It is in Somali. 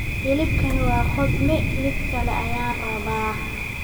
hilibkani waa qudhme mid kale ayaan rabaa